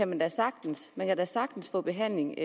man da sagtens man kan da sagtens få behandling